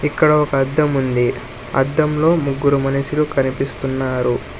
ఇక్కడ ఒక అద్దం ఉంది అద్దంలో ముగ్గురు మనుషులు కనిపిస్తున్నారు.